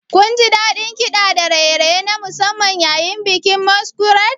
Kunji daɗin kiɗa da raye-raye na musamman yayin bikin Masquerade?